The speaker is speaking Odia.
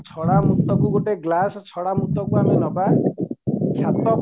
ଛଡା ମୁତାକୁ ଗୋଟେ ଗ୍ଲାସ ଛଡା ମୁତକୁ ଆମେ ନବା ସାତ